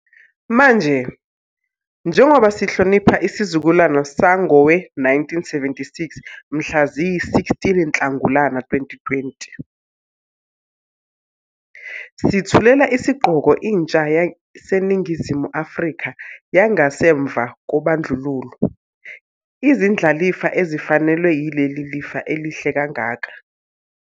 Manje, njengoba sihlonipha isizukulwane sangowe-1976 mhla ziyi-16 Nhlangulana 2020, sithulela isigqoko intsha yaseNingizimu Afrika yangasemva kobandlululo, izindlalifa ezifanelwe yileli lifa elihle kangaka.